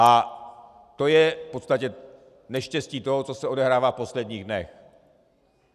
A to je v podstatě neštěstí toho, co se odehrává v posledních dnech.